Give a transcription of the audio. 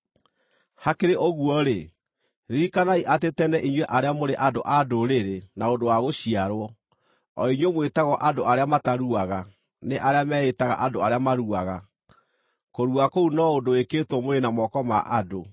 Hakĩrĩ ũguo-rĩ, ririkanai atĩ tene inyuĩ arĩa mũrĩ andũ-a-Ndũrĩrĩ na ũndũ wa gũciarwo, o inyuĩ mwĩtagwo “andũ arĩa mataruaga” nĩ arĩa meĩĩtaga “andũ arĩa maruaga” (kũrua kũu no ũndũ wĩkĩtwo mwĩrĩ na moko ma andũ),